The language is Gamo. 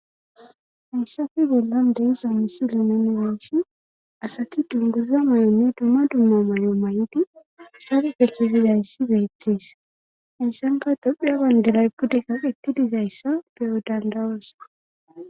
Hayssafe bollan deesa misili nene niisi asati dunduza muynne dumma dumma mayy7o may7idi sabe pekizidayssi beetteesa ysanka tophea bandela ypudeka qettidizayssa beyo dandawosa.